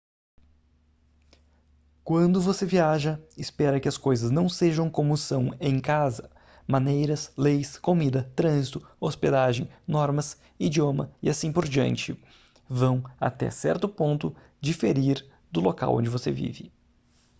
quando você viaja espera que as coisas não sejam como são em casa maneiras leis comida trânsito hospedagem normas idioma e assim por diante vão até certo ponto diferir do local onde você vive